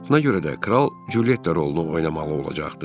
Buna görə də kral Culyetta rolunu oynamalı olacaqdı.